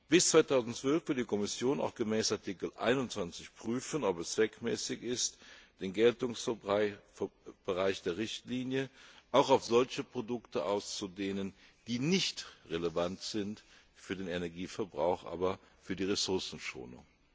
Bis 2012 will die Kommission auch gemäß Artikel 21 prüfen, ob es zweckmäßig ist, den Geltungsbereich der Richtlinie auf solche Produkte auszudehnen, die nicht relevant sind für den Energieverbrauch, aber für die Ressourcenschonung.